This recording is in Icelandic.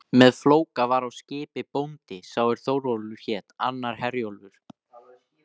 Með Flóka var á skipi bóndi sá er Þórólfur hét, annar Herjólfur.